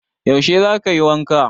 Yaushe za kayi wanka?